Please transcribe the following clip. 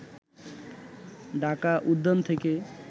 ঢাকা উদ্যান থেকে